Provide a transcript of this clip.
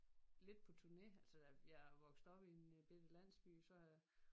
Lidt på turne altså der jeg er vokset op i en bette landsby så har jeg